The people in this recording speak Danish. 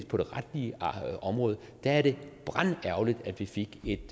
på det retlige område er det brandærgerligt at vi fik et